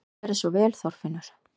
Gerðu svo vel, Þorfinnur!